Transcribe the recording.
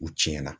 U tiɲɛna